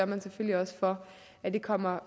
man selvfølgelig også for at det kommer